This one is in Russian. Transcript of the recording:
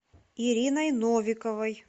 ириной новиковой